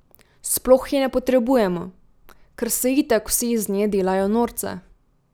Sploh je ne potrebujemo, ker se itak vsi iz nje delajo norca...